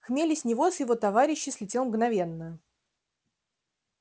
хмель и с него и с его товарищей слетел мгновенно